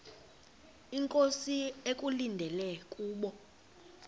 inkosi ekulindele kubo